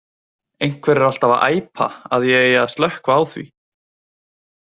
Einhver er alltaf að æpa að ég eigi að slökkva á því.